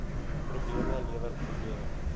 probleme lewer probleme